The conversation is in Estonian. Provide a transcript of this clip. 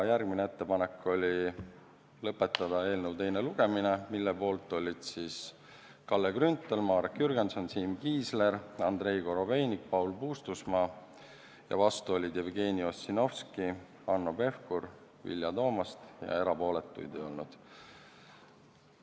Järgmine ettepanek oli lõpetada eelnõu teine lugemine, mille poolt olid Kalle Grünthal, Marek Jürgenson, Siim Kiisler, Andrei Korobeinik, Paul Puustusmaa, vastu olid Jevgeni Ossinovski, Hanno Pevkur ja Vilja Toomast ning erapooletuid ei olnud.